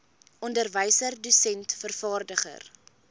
onderwyser dosent vervaardiger